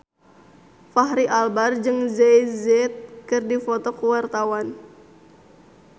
Fachri Albar jeung Jay Z keur dipoto ku wartawan